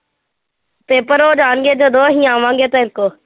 paper ਹੋ ਜਾਣਗੇ ਜਦੋਂ ਅਸੀਂ ਆਵਾਂਗੇ ਤੇਰੇ ਕੋਲ